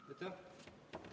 Aitäh!